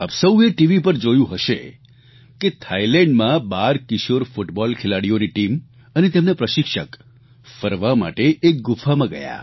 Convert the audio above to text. આપ સૌએ ટીવી પર જોયું હશે કે થાઇલેન્ડમાં બાર કિશોર ફૂટબોલ ખેલાડીઓની ટીમ અને તેમના પ્રશિક્ષક ફરવા માટે એક ગુફામાં ગયા